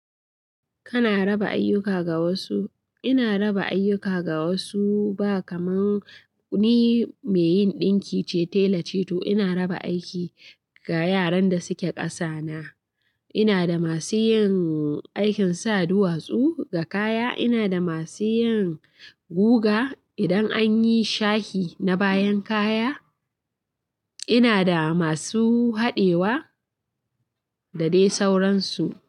Kana raba ayyuka ga wasu? Ina raba ayyuka ga wasu ba kamar ni mai yin ɗinki ce tela ce, to ina raba aiki ga yaran da suke ƙasa na. Ina da masu yin aikin sa duwatsu ga kaya, ina da masu yin guga idan anyi shahi na bayan kaya, ina da masu haɗewa da dai sauransu.